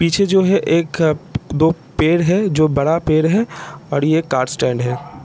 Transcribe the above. पीछे जो है एक दो पेड़ है जो बड़ा पेड़ है और ये कार स्टैंड है।